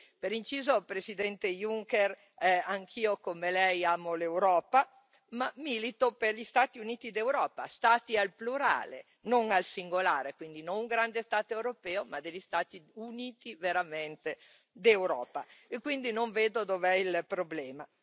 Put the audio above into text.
Per inciso, Presidente Juncker, anch'io come Lei amo l'Europa, ma milito per gli Stati Uniti d'Europa, Stati al plurale, non al singolare, quindi, non grande Stato europeo ma degli Stati Uniti veramente d'Europa e quindi non vedo dov'è il problema.